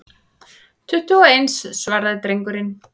Tuttugu og eins, svaraði drengurinn.